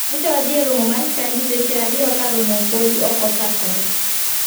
Nyocha wadhi e romo mar chadi seche a riyo ka romo podi ok ochakore.